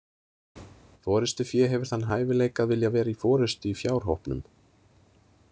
Forystufé hefur þann hæfileika að vilja vera í forystu í fjárhópnum.